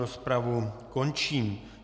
Rozpravu končím.